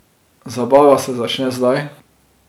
Zabava se začne zdaj.